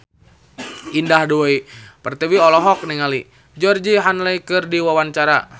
Indah Dewi Pertiwi olohok ningali Georgie Henley keur diwawancara